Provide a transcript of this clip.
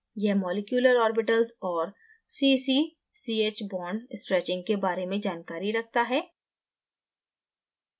यह molecular orbitals और cc ch bond stretching के बारे में जानकारी रखता है